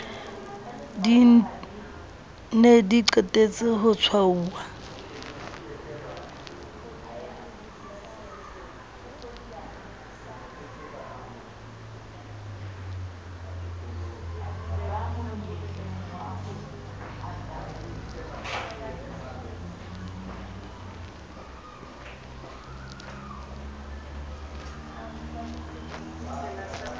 ne di qetetse ho tshwauwa